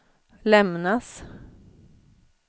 lämnas